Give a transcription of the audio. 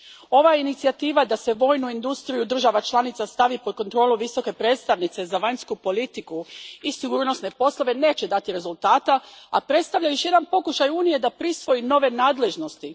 Ova inicijativa da se vojnu industriju država članica stavi pod kontrolu Visoke predstavnice za vanjsku politiku i sigurnosne poslove neće dati rezultata, a predstavlja još jedan pokušaj Unije da prisvoji nove nadležnosti.